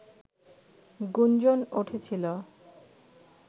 গুঞ্জন উঠেছিল